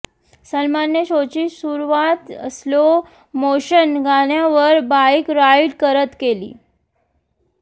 सलमानने शोची सुरुवात स्लो मोशन गाण्यावर बाइक राइड करत केली